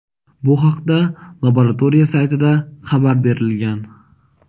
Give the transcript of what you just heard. Bu haqda laboratoriya saytida xabar berilgan.